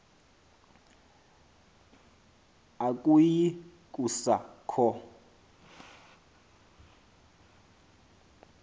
akuyi kusa kho